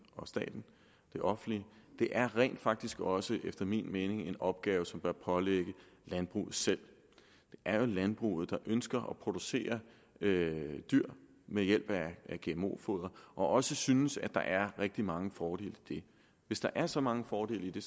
og staten det offentlige det er rent faktisk også efter min mening en opgave som bør pålægges landbruget selv det er jo landbruget der ønsker at producere dyr ved hjælp af gmo foder og også synes at der er rigtig mange fordele i det hvis der er så mange fordele i det